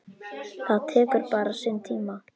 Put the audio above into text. Það tekur bara sinn tíma.